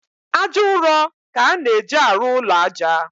Ájá ụrọ ka a na-eji arụ ụlọ ájá